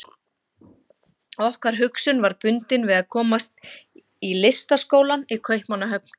Okkar hugsun var bundin við að komast í Listaskólann í Kaupmannahöfn.